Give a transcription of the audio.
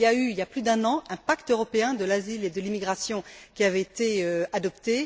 Il y a eu, il y a plus d'un an, un pacte européen de l'asile et de l'immigration qui avait été adopté.